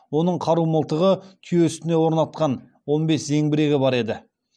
оның қару мылтығы түйе үстіне орнатқан он бес зеңбірегі бар еді